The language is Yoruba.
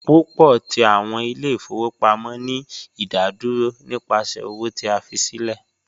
Pupọ ti awọn ile-ifowopamọ ni idaduro nipasẹ owo ti a fi silẹ